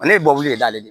Ale ye bɔli de ye